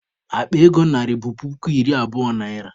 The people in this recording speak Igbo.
Akpa ego narị bụ puku iri abụo naịra.